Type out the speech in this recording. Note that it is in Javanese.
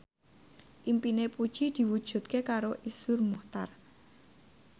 impine Puji diwujudke karo Iszur Muchtar